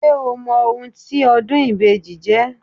Ṣé o mọ ohun tí ọdún ìbejì jẹ́?